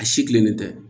A si kilennen tɛ